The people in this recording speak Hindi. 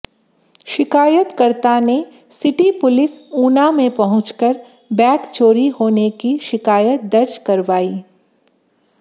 शिकायतकर्ता ने सिटी पुलिस ऊना में पहुंचकर बैग चोरी होने की शिकायत दर्ज करवाई